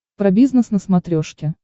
про бизнес на смотрешке